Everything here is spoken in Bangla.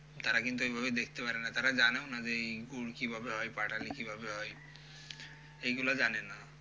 তারা কিন্তু এগুলো দেখতে পারে না, তারা জানেও না যে এই গুড় কিভাবে হয় পাটালি কিভাবে হয়, এইগুলো জানে না।